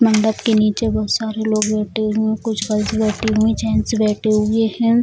मंडप के निचे बहुत सारे लोग बैठे हुए हैं | कुछ गर्ल्स बैठी हुई जेंट्स बैठे हुए हैं |